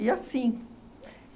E assim.